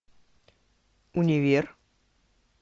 универ